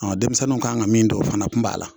Ɔɔ denmisɛnninw kan ka min don o fana kun b'a la